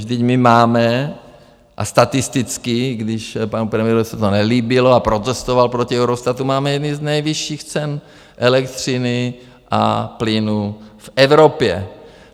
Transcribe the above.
Vždyť my máme, a statisticky, když panu premiérovi se to nelíbilo a protestoval proti Eurostatu, máme jedny z nejvyšších cen elektřiny a plynu v Evropě.